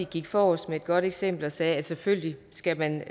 gik forrest med et godt eksempel og sagde at selvfølgelig skal man